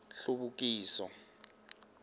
hluvukiso